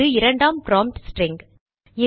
இது இரண்டாம் prompt string